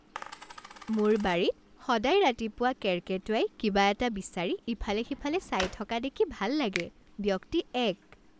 মোৰ বাৰীত সদায় ৰাতিপুৱা কেৰ্কেটুৱাই কিবা এটা বিচাৰি ইফালে সিফালে চাই থকা দেখি ভাল লাগে। ব্যক্তি এক